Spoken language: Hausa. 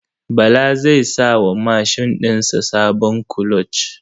Bala zai sa wa mashin ɗin sa sabon kuloc.